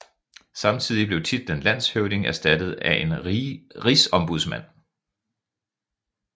Samtidig blev titlen landshøvding erstattet af en rigsombudsmand